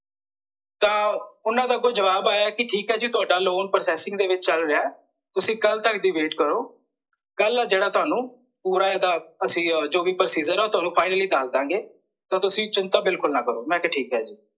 ਤਾਂ ਓਹਨਾਂ ਦਾ ਅੱਗੋਂ ਜਵਾਬ ਆਇਆ ਕੀ ਠੀਕ ਐ ਜੀ ਤੁਹਾਡਾ ਲੋਨ processing ਦੇ ਵਿੱਚ ਚੱਲ ਰਿਹਾ ਐ ਤੁਸੀਂ ਕੱਲ ਤਕ ਦੀ wait ਕਰੋ ਕੱਲ ਏ ਜਿਹੜਾ ਤੁਹਾਨੂੰ ਪੂਰਾ ਇਹਦਾ ਅਸੀਂ ਆ ਜੋ ਵੀ procedure ਐ ਤੁਹਾਨੂੰ finally ਦੱਸ ਦਿਆਂਗੇ ਤਾਂ ਤੁਸੀਂ ਚਿੰਤਾ ਬਿਲਕੁਲ ਨਾਂ ਕਰੋ, ਮੈਂ ਕਿਹਾ ਠੀਕ ਐ ਜੀ